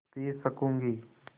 P सकँूगी